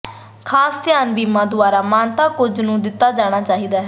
ਖਾਸ ਧਿਆਨ ਬੀਮਾ ਦੁਆਰਾ ਮਾਨਤਾ ਕੁਝ ਨੂੰ ਦਿੱਤਾ ਜਾਣਾ ਚਾਹੀਦਾ ਹੈ